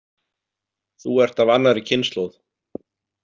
Þú ert af annarri kynslóð.